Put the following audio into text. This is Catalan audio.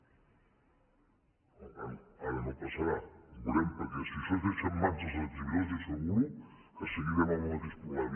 bé ara no passarà ja ho veurem perquè si això es deixa en mans dels exhibidors li asseguro que seguirem amb el mateix problema